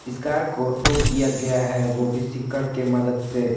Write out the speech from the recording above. इस कार को टो किया गया है वो भी सीकड़ के मदद से।